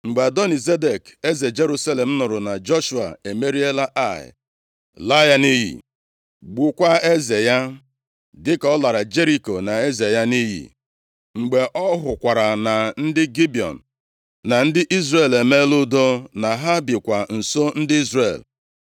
Mgbe Adoni-Zedek, eze Jerusalem nụrụ na Joshua emeriela Ai, laa ya nʼiyi, gbukwaa eze ya, dịka ọ lara Jeriko na eze ya nʼiyi, mgbe ọ hụkwara na ndị Gibiọn na ndị Izrel emeela udo, na ha bikwa nso ndị Izrel,